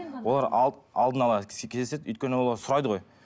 олар алдына ала кездеседі өйткені олар сұрайды ғой